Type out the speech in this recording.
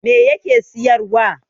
me yake siyarwa